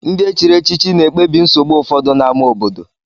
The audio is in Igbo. Ndị e chiri echichi na-ekpebi nsogbu ụfọdụ n'ámá obodo.